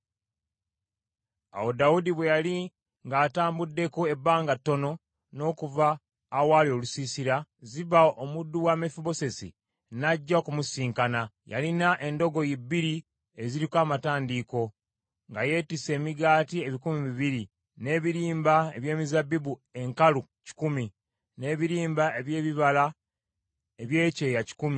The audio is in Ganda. Awo Dawudi bwe yali ng’atambuddeko ebbanga ttono n’okuva awaali olusiisira, Ziba omuddu wa Mefibosesi n’ajja okumusisinkana. Yalina endogoyi bbiri eziriko amatandiiko, nga zeetisse emigaati ebikumi bibiri, n’ebirimba eby’ezabbibu enkalu kikumi, n’ebirimba eby’ebibala eby’ekyeya kikumi, n’ekita kya wayini.